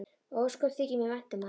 Og ósköp þykir mér vænt um hana.